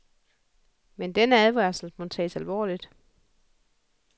Men denne advarsel må tages alvorligt.